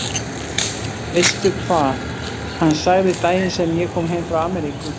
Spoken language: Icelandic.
Veistu hvað hann sagði daginn sem ég kom heim frá Ameríku?